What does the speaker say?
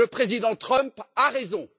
Le président Trump a raison!